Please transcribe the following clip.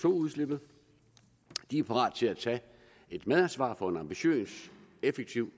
udslippet de er parate til at tage et medansvar for en ambitiøs og effektiv